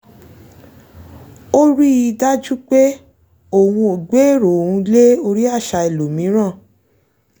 ó rí i dájú pé òun ò gbé èrò òun lé orí àṣà ẹlòmíràn